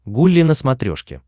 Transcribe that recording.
гулли на смотрешке